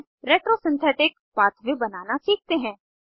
अब retro synthetic pathway बनाना सीखते हैं